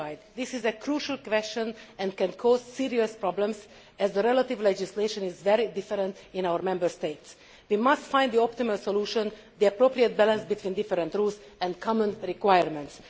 This is a crucial question that can cause serious problems, as the relevant legislation is very different in our Member States. We must find the optimal solution the appropriate balance between different rules and common requirements.